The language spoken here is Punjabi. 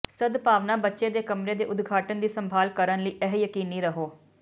ਸਦਭਾਵਨਾ ਬੱਚੇ ਦੇ ਕਮਰੇ ਦੇ ਉਦਘਾਟਨ ਦੀ ਸੰਭਾਲ ਕਰਨ ਲਈ ਇਹ ਯਕੀਨੀ ਰਹੋ